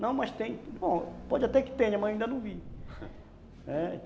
Não, mas tem, bom, pode até que tenha, mas ainda não vi.